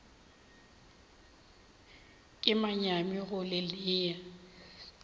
ke manyami go le nea